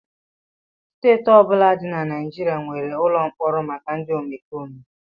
Steeti ọ bụla dị na Naịjirịa nwere ụlọ mkpọrọ maka ndị omekome